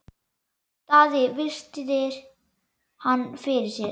Daði virti hann fyrir sér.